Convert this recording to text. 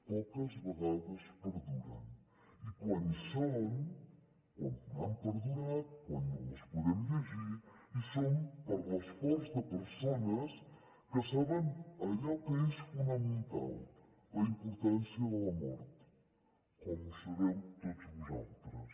poques vegades perduren i quan hi són quan han perdurat quan les podem llegir hi són per l’esforç de persones que saben allò que és fonamental la importància de la mort com ho sabeu tots vosaltres